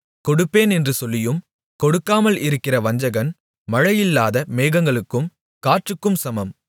கொடுப்பேன் என்று சொல்லியும் கொடுக்காமல் இருக்கிற வஞ்சகன் மழையில்லாத மேகங்களுக்கும் காற்றுக்கும் சமம்